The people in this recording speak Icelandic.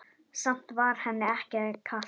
Samt var henni ekki kalt.